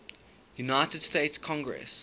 united states congress